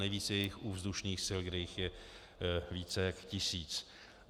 Nejvíce je jich u vzdušných sil, kde jich je více než tisíc.